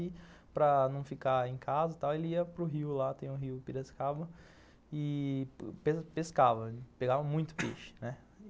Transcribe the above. E para não ficar em casa e tal ele ia para o rio lá, tem o rio Piracicaba, e pescava, pegava muito peixe, né.